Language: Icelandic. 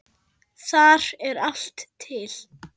Þar er allt til.